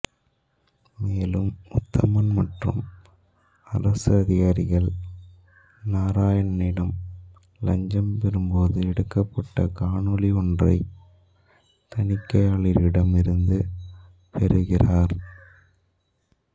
மேலும் உத்தமன் மற்றும் அரசு அதிகாரிகள் நாராயணனிடம் இலஞ்சம் பெறும் போது எடுக்கப்பட்ட காணொளி ஒன்றை தணிக்கையாளரிடம் இருந்து பெறுகிறார்